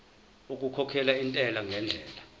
okukhokhela intela ngendlela